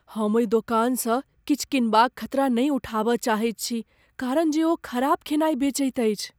हम ओहि दोकानसँ किछु कीनबाक खतरा नहि उठाबय चाहैत छी कारण जे ओ खराब खेनाइ बेचैत अछि।